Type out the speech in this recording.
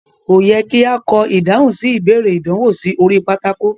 Ko yẹ ki a kọ ìdáhùn sí ìbéèrè ìdánwò sí orí pátákó.